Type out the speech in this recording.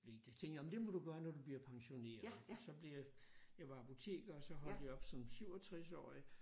Tænkte jeg men det må du gøre når du bliver pensioneret og så blive jeg var apoteker og så holdt jeg op som 67-årig